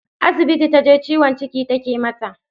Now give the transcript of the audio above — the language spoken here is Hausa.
Asibiti taje, ciwon ciki take mata.